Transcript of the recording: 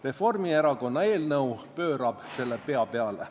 Reformierakonna eelnõu pöörab selle pea peale.